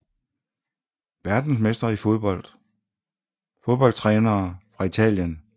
Verdensmestre i fodbold Fodboldtrænere fra Italien